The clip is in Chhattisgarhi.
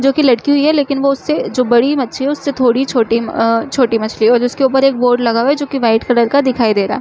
जो की लटकी हुई है लेकिन वो उस से जो बड़ी मच्छी है उससे थोड़ी छोटी अ छोटी मछली है और जो उसके ऊपर एक बोर्ड लगा हुआ है जो की वाइट कलर का दिखाई दे रहा हैं।